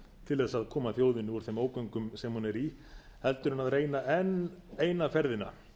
til þess að koma þjóðinni úr þeim ógöngum sem hún er í heldur en að reyna enn eina ferðina